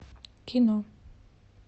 кино